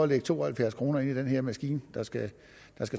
lægge to og halvfjerds kroner ind i den her maskine der skal